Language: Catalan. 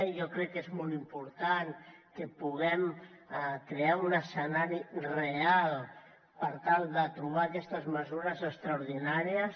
jo crec que és molt important que puguem crear un escenari real per tal de trobar aquestes mesures extraordinàries